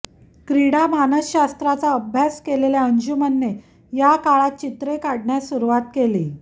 क्रीडा मानसशास्त्राचा अभ्यास केलेल्या अंजुमने या काळात चित्रे काढण्यास सुरुवात केली